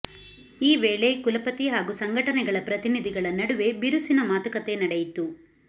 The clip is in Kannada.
ಈ ವೇಳೆ ಕುಲಪತಿ ಹಾಗೂ ಸಂಘಟನೆಗಳ ಪ್ರತಿನಿಧಿಗಳ ನಡುವೆ ಬಿರುಸಿನ ಮಾತುಕತೆ ನಡೆಯಿತು